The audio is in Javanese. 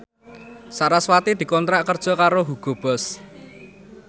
sarasvati dikontrak kerja karo Hugo Boss